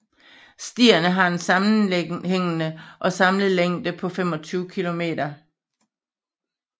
Stierne har en sammenhængende og samlet længde på 25 kilometer